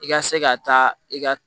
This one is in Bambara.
I ka se ka taa i ka